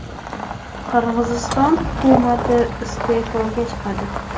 Qirg‘iziston hukumati iste’foga chiqadi.